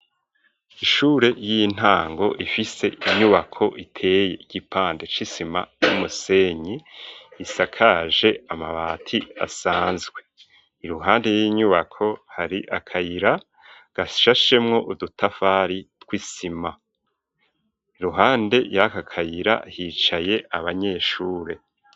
Ishure ry'intango rifise inyubako iteye igipande c'isima y'umusenyi isakaje amabati asanzwe, iruhande y'inyubako hari akayira gashashemwo udutafari tw'isima, iruhande y'akakayira hicaye abanyeshure.